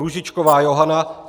Růžičková Johana